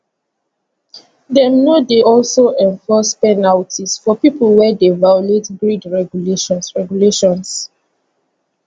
dem no dey also enforce penalties for pipo wey dey violate grid regulations regulations